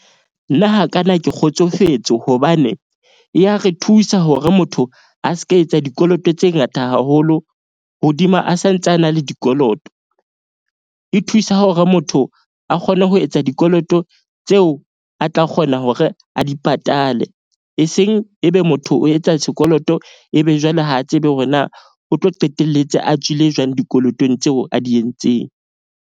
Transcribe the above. Nna hakana ke kgotsofetse hobane, e ya re thusa hore motho a se ka etsa dikoloto tse ngata haholo hodima a santse, a na le dikoloto. E thusa hore motho a kgone ho etsa dikoloto tseo a tla kgona hore a di patale. Eseng ebe motho o etsa sekoloto ebe jwale ha a tsebe hore na o tlo qetelletse a tswile jwang dikolotong tseo a di entseng.